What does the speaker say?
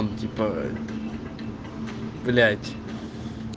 ну типа блять